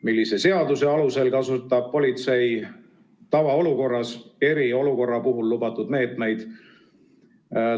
Millise seaduse alusel kasutab politsei tavaolukorras eriolukorra puhul lubatud meetmeid?